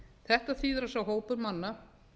þetta þýðir að sá hópur manna